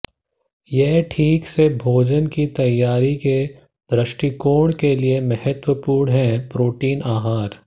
यह ठीक से भोजन की तैयारी के दृष्टिकोण के लिए महत्वपूर्ण है प्रोटीन आहार